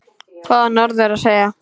Hvað á norður að segja?